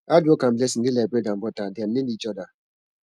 hard work and blessing dey like bread and butter dem need each oda